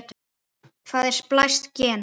Hvað er splæst gen?